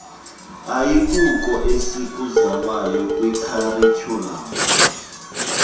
ayikuko esikuzamayo kwikharityhulamu